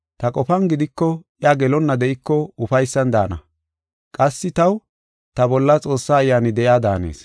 Ta qofan gidiko, iya gelonna de7iko ufaysan daana. Qassi taw, ta bolla Xoossa Ayyaani de7iya daanees.